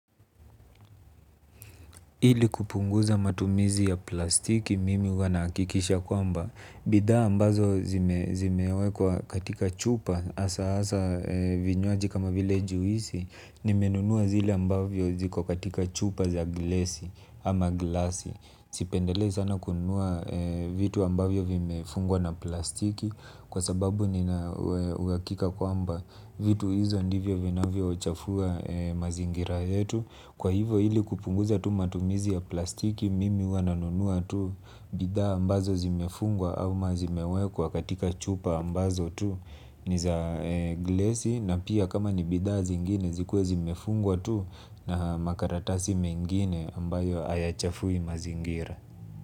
Ili kupunguza matumizi ya plastiki mimi huwa nahakikisha kwamba bidha ambazo zime wekwa katika chupa asa asa vinywaji kama vile juisi. Nimenunua zile ambavyo ziko katika chupa za glasi ama glasi. Sipendelei sana kununua vitu ambavyo vimefungwa na plastiki. Kwa sababu nina uhakika kwamba vitu hizo ndivyo vina vyo chafua mazingira yetu. Kwa hivo hili kupunguza tu matumizi ya plastiki mimi huwa nanunua tu. Bidha ambazo zimefungwa ama zimewekwa katika chupa ambazo tu ni za glesi na pia kama ni bidha zingine zikuwe zimefungwa tu. Na makaratasi mengine ambayo hayachafui mazingira.